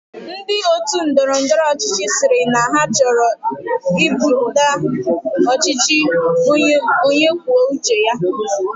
Ndi otu Ndọrọ ndọrọ ọchịchị siri na choro ibuta ọchịchị onye kwuo uche ya